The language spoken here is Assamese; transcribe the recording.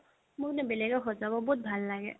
মোৰ মানে বেলেগক সজাব বহুত ভাল লাগে